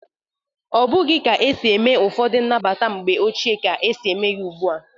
Ọbụghi ka esi eme ụfọdụ nnabata mgbe ochie ka e si eme ya ugbu a.